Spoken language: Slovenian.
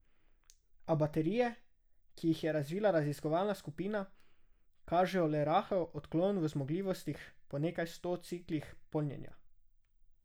A baterije, ki jih je razvila raziskovalna skupina, kažejo le rahel odklon v zmogljivostih po nekaj sto ciklih polnjenja.